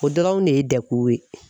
O dɔrɔn de ye dɛkuw ye.